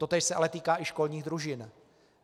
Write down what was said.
Totéž se ale týká i školních družin.